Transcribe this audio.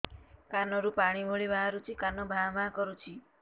କାନ ରୁ ପାଣି ଭଳି ବାହାରୁଛି କାନ ଭାଁ ଭାଁ କରୁଛି